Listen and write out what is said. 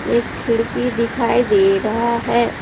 एक खिड़की दिखाई दे रहा है।